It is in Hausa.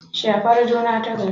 Shafar juna tagari